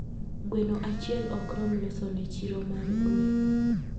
Gweno achiel okrom losone chiro mar gwen